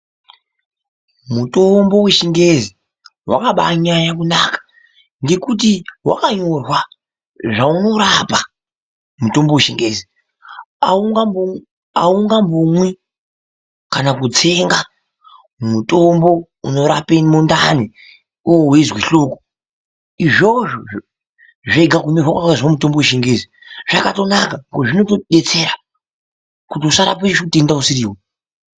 Mutombo wechingezi wakabanyanya kunaka ngekuti wakanyorwa zvaunorapa mutombo wechingezi, aungambomwi kana kutsenga mutombo unorape mundani iwewe weizwe hloko izvozvo zvega kunyirwa kwakaizwe mutombo wechingezi zvakatonaka ngekuti zvinotodetsera kuti usarape utenda usiriwo.